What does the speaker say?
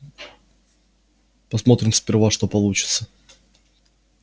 посмотрим сперва что получится